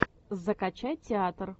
закачай театр